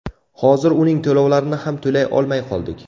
Hozir uning to‘lovlarini ham to‘lay olmay qoldik.